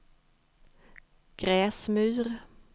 Gräsmyr